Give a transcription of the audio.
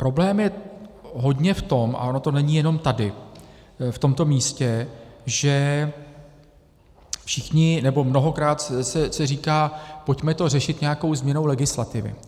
Problém je hodně v tom - a ono to není jenom tady, v tomto místě, že všichni, nebo mnohokrát se říká: pojďme to řešit nějakou změnou legislativy.